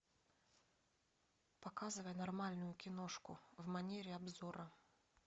показывай нормальную киношку в манере обзора